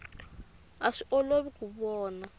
a swi olovi ku vona